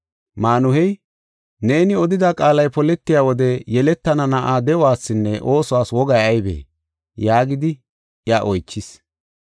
Maanuhey, “Neeni odida qaalay poletiya wode yeletana na7aa de7uwasinne oosuwas wogay aybee?” yaagidi iya oychis.